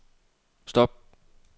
stop